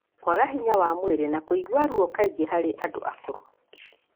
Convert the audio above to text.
kwaga hinya wa mwĩrĩ na kũigua ruo kaingĩ harĩ andũ akũrũ.